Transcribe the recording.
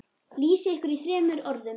Lýsið ykkur í þremur orðum.